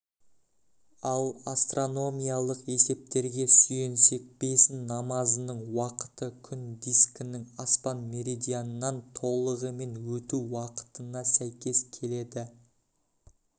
ал астрономиялық есептерге сүйенсек бесін намазының уақыты күн дискінің аспан меридианынан толығымен өту уақытына сәйкес келеді